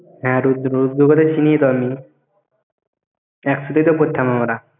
হ্যাঁ রুদ্র, রুদ্র একসাথে তো পড়তাম আমরা।